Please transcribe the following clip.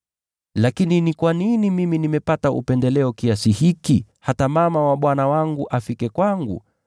Lakini ni kwa nini mimi nimepata upendeleo kiasi hiki, hata mama wa Bwana wangu afike kwangu?